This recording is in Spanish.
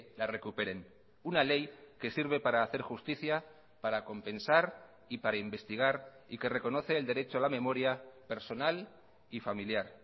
la recuperen una ley que sirve para hacer justicia para compensar y para investigar y que reconoce el derecho a la memoria personal y familiar